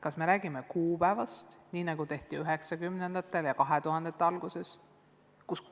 Kas me räägime kuupäevast, nii nagu tehti 1990-ndatel ja 2000-ndate alguses?